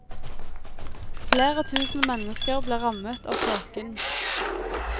Flere tusen mennesker ble rammet av tåken.